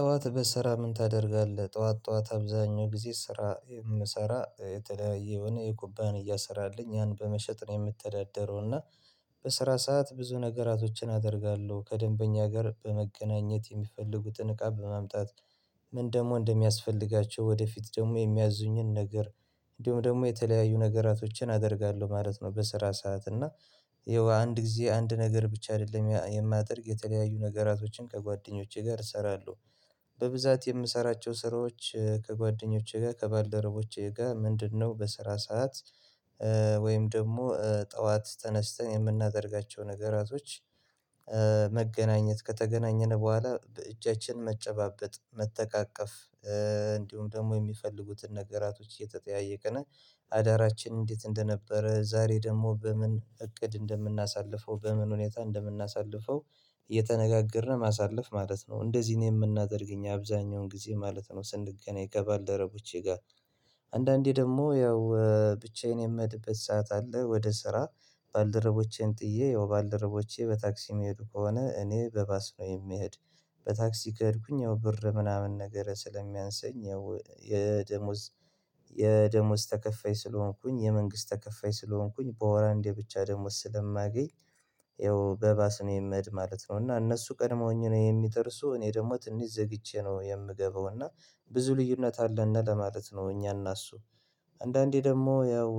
ጠዋት በስራ ምን ታደርጋለህ ጠዋት ጠዋት አብዛኛው ጊዜ ስራ የምሰራ የተለያየ የሆነ የኩባንያ ስራ አለኝ ያን በመሸጥ ነው የምተዳደረው እና በስራ ሰዓት ብዙ ነገራቶችን አደርጋለሁ ከደንበኛ ጋር በመገናኘት የሚፈልጉትን እቃ በማምጣት። ምን ደግሞ እንደሚያስፈልጋቸው ወደፊት ደግሞ የሚያዙኝን ነገር እንዲሁም ደግሞ የተለያዩ ነገራቶችን አደርጋለሁ ማለት ነው። በስራ ሰዓት እና ይኸው አንድ ጊዜ አንድ ነገር ብቻ አደለም የማደርግ የተለያዩ ነገራቶችን ከጓደኞቼ ጋር እሰራለሁ። በብዛት የምሰራቸው ስራዎች ከጓደኞቼ ጋር ከባልደረቦቼ ጋር ምንድነው? በስራ ሰዓት ወይም ደግሞ ጠዋት ተነስተን የምናደርጋቸው ነገራቶች። መገናኘት ከተገናኘን በኋላ እጃችንን መጨባበጥ መተቃቀፍ እንዲሁም ደግሞ የሚፈልጉትን ነገራቶች እየተጠያየቅን አዳራችን እንዴት እንደነበረ ዛሬ ደግሞ በምን እቅድ እንደምናሳልፈው በምን ሁኔታ እንደምናሳልፈው። የተነጋገርነ ማሳለፍ ማለት ነው እንደዚህ ነው የምናደርግ እኛ አብዛኛውን ጊዜ ማለት ነው። ስንገናኝ ከባልደረቦቼ ጋር አንዳንዴ ደግሞ ያው ብቻዬን የምኸድበት ሰዓት አለ። ወደ ስራ ባልደረቦቼን ጥዬ ያው ባልደረቦቼ በታክሲ የሚሄዱ ከሆነ እኔ በባስ ነው የምሄድ። በታክሲ ከሄድኩኝ ያው ብር ምናምን ነገር ስለሚያንሰኝ ያው የደሞዝ የደሞዝ ተከፋይ ስለሆንኩኝ የመንግስት ተከፋይ ስለሆንኩኝ በወር አንዴ ብቻ ደሞዝ ስለማገኝ። ያው በባስ ነው የምሄድ ማለት ነው እና እነሱ ቀድመውኝ ነው የሚደርሱ እኔ ደግሞ ትንሽ ዘግቼ ነው የምገባው። እና ብዙ ልዩነት አለነ ለማለት ነው። እኛና እሱ። አንዳንዴ ደግሞ ያው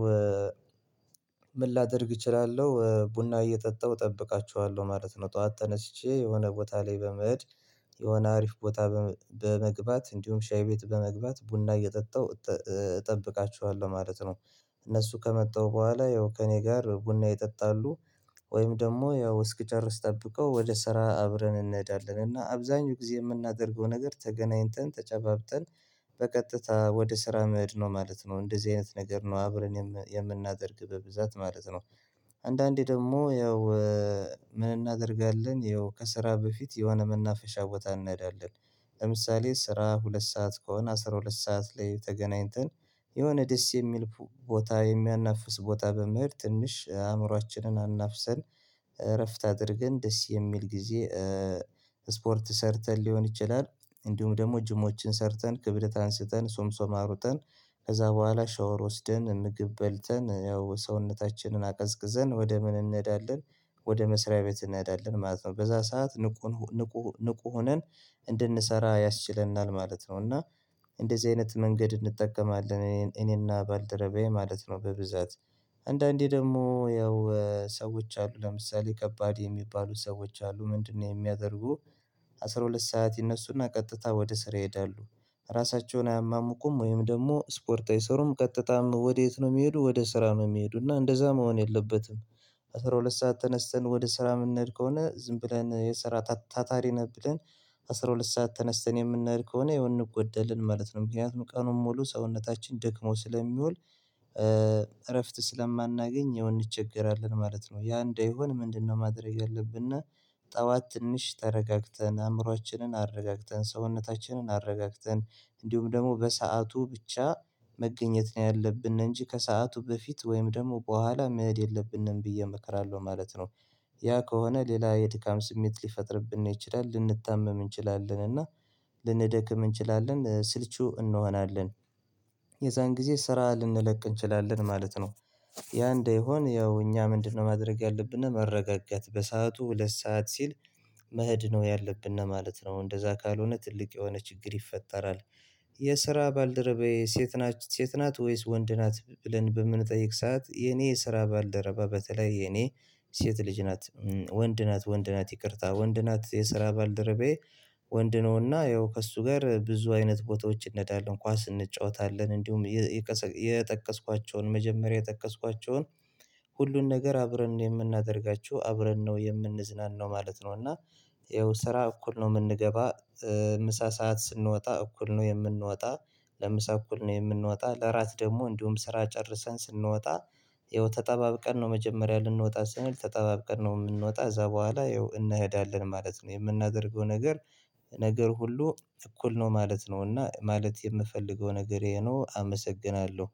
ምን ላደርግ እችላለሁ ቡና እየጠጣሁ እጠብቃቸዋለሁ ማለት ነው። ጠዋት ተነስቼ የሆነ ቦታ ላይ በመኸድ የሆነ አሪፍ ቦታ በመግባት እንዲሁም ሻይ ቤት በመግባት ቡና እየጠጣሁ እጠብቃቸዋለሁ ማለት ነው። እነሱ ከመጣሁ በኋላ ያው ከእኔ ጋር ቡና ይጠጣሉ። ወይም ደግሞ ያው እስኪጨርስ ጠብቀው ወደ ስራ አብረን እንሄዳለን እና አብዛኛው ጊዜ የምናደርገው ነገር ተገናኝተን ተጨባብጠን በቀጥታ ወደ ስራ መድ ነው ማለት ነው። እንደዚህ አይነት ነገር ነው አብረን የምናደርግ በብዛት ማለት ነው። አንዳንዴ ደግሞ ያው ምን እናደርጋለን ይኸው ከስራ በፊት የሆነ መናፈሻ ቦታ እንሄዳለን። ለምሳሌ ስራ ሁለት ሰዓት ከሆነ አስራ ሁለት ሰዓት ላይ ተገናኝተን የሆነ ደስ የሚል ቦታ የሚያናፍስ ቦታ በመሄድ ትንሽ አእምሮአችንን አናፍሰን እረፍት አድርገን ደስ የሚል ጊዜ። ስፖርት ሰርተን ሊሆን ይችላል። እንዲሁም ደግሞ ጅሞችን ሰርተን ክብደት አንስተን ሶምሶም አሩጠን ከዛ በኋላ ሻወር ወስደን ምግብ በልተን ያው ሰውነታችንን አቀዝቅዘን ወደ ምን እንሄዳለን። ወደ መስሪያ ቤት እንሄዳለን ማለት ነው በዛ ሰዓት ንቁ ንቁ ንቁ ሆነን እንድንሰራ ያስችለናል ማለት ነው። እና እንደዚህ አይነት መንገድ እንጠቀማለን እኔና ባልደረባዬ ማለት ነው በብዛት። አንዳንዴ ደግሞ ያው ሰዎች አሉ ለምሳሌ ከባድ የሚባሉ ሰዎች አሉ ምንድነው? የሚያደርጉ አስራ ሁለት ሰዓት ይነሱና ቀጥታ ወደ ስራ ይሄዳሉ። ራሳቸውን አያማሙቁም ወይም ደግሞ ስፖርት አይሰሩም ቀጥታም ወዴት ነው የሚሄዱ ወደ ስራ ነው የሚሄዱ እና እንደዛ መሆን የለበትም። አስራ ሁለት ሰዓት ተነስተን ወደ ስራ የምንሄድ ከሆነ ዝም ብለን የስራ ታታሪ ነን ብለን አስራ ሁለት ሰዓት ተነስተን የምንሄድ ከሆነ ያው እንጎደልን ማለት ነው። ምክንያቱም ቀኑን ሙሉ ሰውነታችን ደክሞ ስለሚወል። እረፍት ስለማናገኝ ያው እንቸገራለን ማለት ነው። ያ እንዳይሆን ምንድነው ማድረግ ያለብነ? ጠዋት ትንሽ ተረጋግተን አእምሮአችንን አረጋግተን ሰውነታችንን አረጋግተን እንዲሁም ደግሞ በሰአቱ ብቻ መገኘት ነው ያለብን እንጂ ከሰአቱ በፊት ወይም ደግሞ በኋላ መሄድ የለብንም ብዬ እመክራለሁ ማለት ነው። ያ ከሆነ ሌላ የድካም ስሜት ሊፈጥርብን ነው ይችላል ልንታመም እንችላለን እና ልንደክም እንችላለን ስልቹ እንሆናለን። የዛን ጊዜ ስራ ልንለቅ እንችላለን ማለት ነው። ያ እንዳይሆን ያው እኛ ምንድነው? ማድረግ ያለብነ መረጋጋት በሰአቱ ሁለት ሰዓት ሲል መህድ ነው ያለብነ ማለት ነው። እንደዛ ካልሆነ ትልቅ የሆነ ችግር ይፈጠራል። የስራ ባልደረባዬ ሴት ናት ሴት ናት ወይስ ወንድ ናት? ብለን በምንጠይቅ ሰዓት የኔ ስራ ባልደረባ በተለይ የኔ ሴት ልጅ ናት ወንድ ናት ወንድ ናት ይቅርታ ወንድ ናት የስራ ባልደረቤ። ወንድ ነውና ያው ከእሱ ጋር ብዙ አይነት ቦታዎች እንሄዳለን ኳስ እንጫወታለን እንዲሁም። የጠቀስኳቸውን መጀመሪያ የጠቀስኳቸውን ሁሉን ነገር አብረን ነው የምናደርጋቸው አብረን ነው የምንዝናናው ማለት ነው። እና ይኸው ስራ እኩል ነው የምንገባ። ምሳ ሰዓት ስንወጣ እኩል ነው የምንወጣ። ለምሳ እኩል ነው የምንወጣ ለራት ደግሞ እንዲሁም ስራ ጨርሰን ስንወጣ። ይኸው ተጠባብቀን ነው መጀመሪያ ልንወጣ ስንል ተጠባብቀን ነው የምንወጣ እዛ በኋላ ይኸው እንሄዳለን ማለት ነው የምናደርገው ነገር። ነገር ሁሉ እኩል ነው ማለት ነው እና ማለት የምፈልገው ነገር ይሄ ነው አመሰግናለሁ